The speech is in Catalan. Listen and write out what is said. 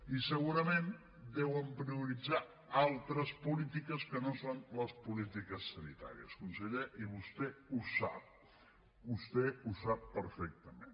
i segurament deuen prioritzar altres polítiques que no són les polítiques sanitàries conseller i vostè ho sap vostè ho sap perfectament